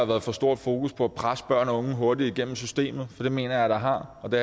været for stort fokus på at presse børn og unge hurtigt igennem systemet for det mener jeg der har og det